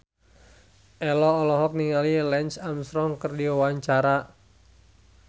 Ello olohok ningali Lance Armstrong keur diwawancara